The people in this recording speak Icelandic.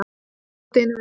Svo get ég bætt einu við.